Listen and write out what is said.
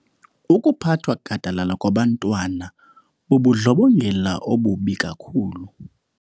Ukuphathwa gadalala kwabantwana bubundlobongela obubi kakhulu.